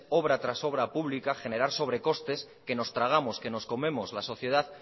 obra tras obra pública generar sobrecostes que nos tragamos que nos comemos la sociedad